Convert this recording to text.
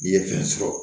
N'i ye fɛn sɔrɔ